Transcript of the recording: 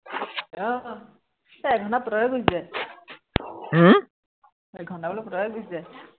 আহ এৰ এঘন্টা পতককে গুছি যায় হম এঘন্টা বোলো পতককৈ গুছি যায়।